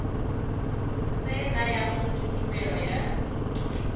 se nayang motho tumelelo ya